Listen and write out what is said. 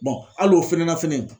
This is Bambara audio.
hali o fɛnɛ na fɛnɛ